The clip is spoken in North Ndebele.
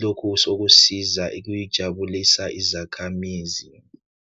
lokhu sokusiza kujabulisa izakhamizi.